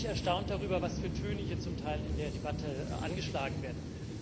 Ich bin ein wenig erstaunt darüber, was für Töne hier zum Teil in der Debatte angeschlagen werden.